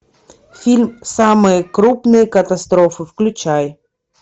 фильм самые крупные катастрофы включай